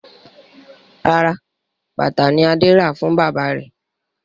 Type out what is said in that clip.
Rárá, bàtà ni Adé rà fún bàbá rẹ̀.